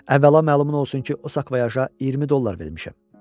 Əvvəla məlumun olsun ki, o sakvayaja 20 dollar vermişəm.